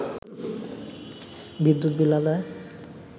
বিদ্যুৎ বিল আদায়